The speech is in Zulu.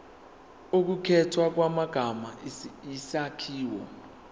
ukukhethwa kwamagama isakhiwo